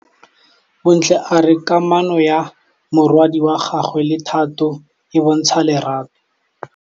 Bontle a re kamanô ya morwadi wa gagwe le Thato e bontsha lerato.